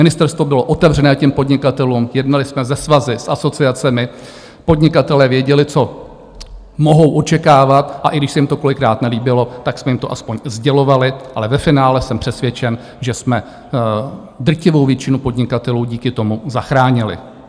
Ministerstvo bylo otevřené těm podnikatelům, jednali jsme se svazy, s asociacemi, podnikatelé věděli, co mohou očekávat, a i když se jim to kolikrát nelíbilo, tak jsme jim to aspoň sdělovali, ale ve finále jsem přesvědčen, že jsme drtivou většinu podnikatelů díky tomu zachránili.